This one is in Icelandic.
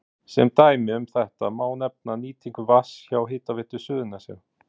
Sem dæmi um þetta má nefna nýtingu vatns hjá Hitaveitu Suðurnesja.